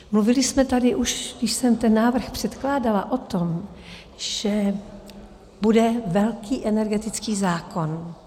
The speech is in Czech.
Mluvili jsme tady, už když jsem ten návrh předkládala, o tom, že bude velký energetický zákon.